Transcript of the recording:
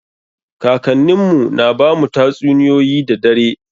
Kakannin mu na bamu tatsuniyoyi da dare.